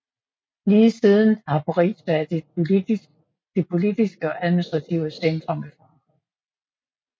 Lige siden har Paris været det politiske og administrative centrum i Frankrig